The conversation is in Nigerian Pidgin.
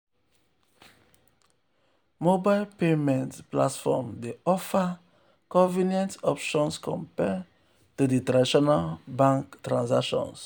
mobile payment platforms dey offer convenient options compared to di traditional bank transactions.